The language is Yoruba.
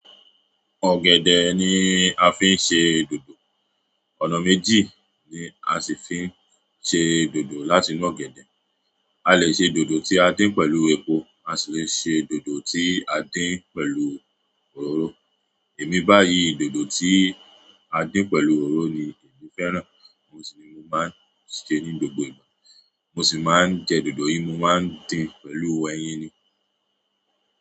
Ọ̀gẹ̀dẹ̀ ni a fi ń ṣe dòdò. Ọ̀nà méjì ni a si fi n se dodo láti inú ọ̀gẹ̀dẹ̀. A lè ṣe dòdò tí a dín pẹ̀lú epo, a sì le ṣe dòdò tí a dín pẹ̀lú òróró. Èmi báyìí, dòdò tí a dín pẹ̀lú òróró ni mi fẹ́ràn. Mo sì ni mo máa ń ṣe ní gbogbo ìgbà. Mo sì máa ń jẹ dòdò yìí, mo máa ń dín pẹ̀lú ẹyin ni.